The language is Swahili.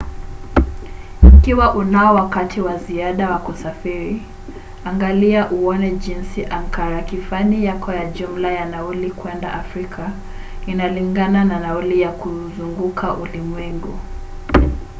ikiwa unao wakati wa ziada wa kusafiri angalia uone jinsi ankarakifani yako ya jumla ya nauli kwenda afrika inalingana na nauli ya kuuzunguka ulimwengu